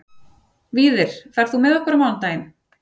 Víðir, ferð þú með okkur á mánudaginn?